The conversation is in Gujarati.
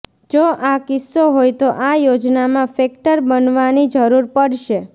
જો આ કિસ્સો હોય તો આ યોજનામાં ફેક્ટર બનવાની જરૂર પડશે